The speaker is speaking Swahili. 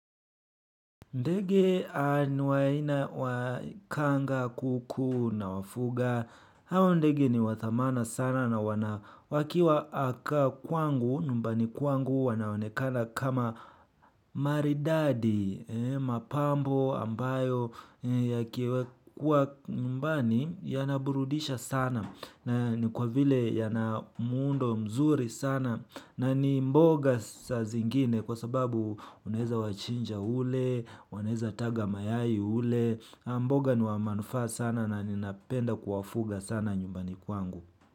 Ndege ni aina wa kanga, kuku nawafuga, hao ndege ni wa thamana sana na wana wakiwa aka kwangu, nyumbani kwangu wanaonekana kama maridadi, mapambo ambayo yakiwekwa nyumbani yanaburudisha sana. Na ni kwa vile yana muundo mzuri sana na ni mboga saa zingine kwa sababu unaweza wachinja ule, wanaweza taga mayai ule, mboga ni wa manufaa sana na ninapenda kuwafuga sana nyumbani kwangu.